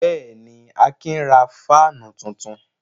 Bẹ́ẹ̀ ni, Akin ra fáánù tuntun.